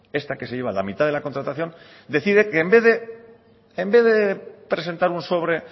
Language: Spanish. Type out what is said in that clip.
esta que se lleva la mitad de la contratación decide que en vez de presentar un sobre